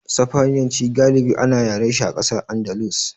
Sifaniyanci galibi ana yarashi a ƙasar Andalus.